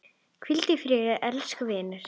Hvíldu í friði elsku vinur.